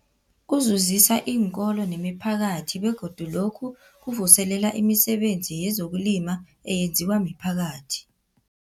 Kuzuzisa iinkolo nemiphakathi begodu lokhu kuvuselela imisebenzi yezokulima eyenziwa miphakathi.